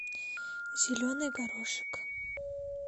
зеленый горошек